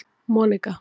Monika